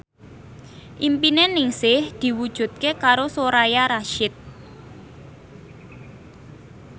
impine Ningsih diwujudke karo Soraya Rasyid